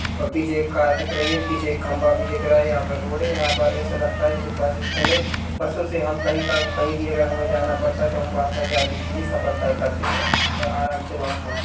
और पीछे एक कार दिख रही है पीछे एक खंबा भी दिख रहा है यहाँ पर रोड है यहाँ पर् ऐसा लगता है जैसे बस स्टैन्ड है बसों से हमें कही का कहीं भी अगर हमें जाना पड़ता है तो हम वहाँ तक जाने के लिए सफर तय करते है और आराम से वहाँ पहुचते है।